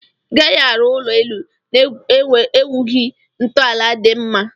Igaghi arụ ụlọ elụ na egwughi ntọala di mma.